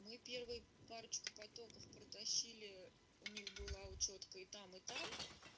мы первую парочку потоков протащили у них была учётка и там и там